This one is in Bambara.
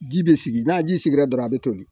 Ji bɛ sigi n'a ji sigira dɔrɔn a bɛ toli